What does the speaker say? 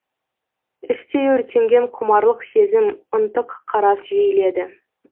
іштей өртенген құмарлық сезім ынтық қарас жиіледі